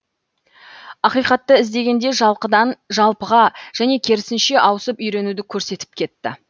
ақиқатты іздегенде жалқыдан жалпыға және керісінше ауысып үйренуді көрсетіп кетті